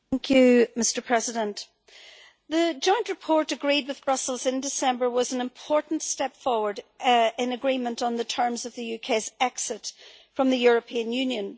Mr President, the joint report agreed with Brussels in December was an important step forward in agreement on the terms of the UK's exit from the European Union.